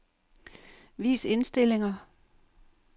Vis indstillinger.